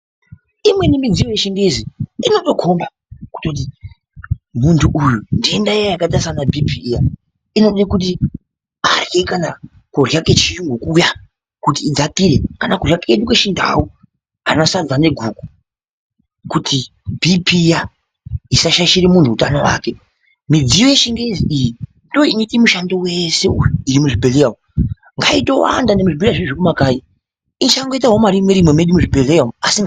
Imweni midziyo yechingezi inotokomba kuti muntu uyu ndenda iya yakaita sana bhipiya inode kuti adhle kudhla kwakaita kana kudhla kwechiyungu kuya kuti idzakire kana kudhla kwedu kwechindau ana sadza neguku kuti bhipiya isashaishire muntu utano wake. Midziyo yechingezi iyi ndiyo inoite mushando wese iri muzvibhedhleya umu, ngaitowanda muzvibhedhlera zvemumakanyi isaitawo marimwe rimwe.